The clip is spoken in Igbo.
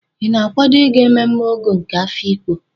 Ị na-akwado ịga mmemme Ọgọ nke Afiikpo?